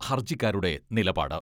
ഹർജിക്കാരുടെ നിലപാട്.